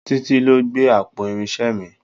Títí ló gbé àpò irinṣẹ́ mi.